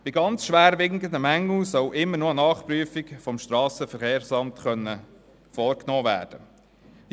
Bei sehr schwerwiegenden Mängeln soll immer noch eine Nachprüfung vom SVSA vorgenommen werden können.